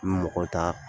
N bɛ mɔgɔ ta